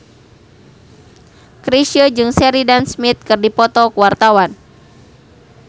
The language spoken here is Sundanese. Chrisye jeung Sheridan Smith keur dipoto ku wartawan